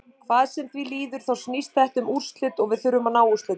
Hvað sem því líður þá snýst þetta um úrslit og við þurfum að ná úrslitum.